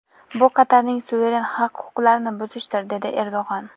Bu Qatarning suveren haq-huquqlarini buzishdir”, dedi Erdo‘g‘on.